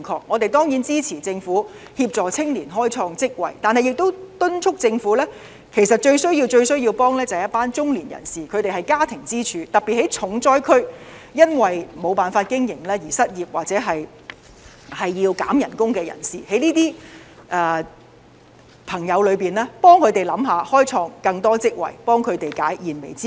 我們當然支持政府協助青年開創職位，但亦要敦促政府，其實最需要幫助的是一群中年人士，他們是家庭支柱，特別是在重災區，因為沒有辦法經營而失業或要減工資的人士，政府應替這些朋友着想，開創更多職位，協助他們解燃眉之急。